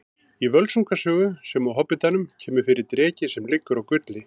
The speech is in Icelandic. Í Völsunga sögu sem og Hobbitanum kemur fyrir dreki sem liggur á gulli.